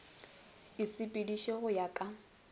e sepeditšwe go ya ka